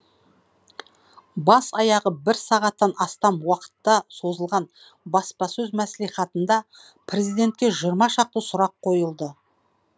бас аяғы бір сағаттан астам уақытта созылған баспасөз мәслихатында президентке жиырма шақты сұрақ қойылды